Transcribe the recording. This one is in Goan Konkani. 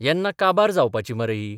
येन्ना काबार जावपाची मरे ही.